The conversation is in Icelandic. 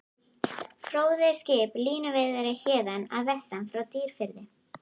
Fróði er skip, línuveiðari héðan að vestan, frá Dýrafirði.